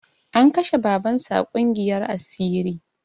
An kashe baban su a ƙungiyar asiri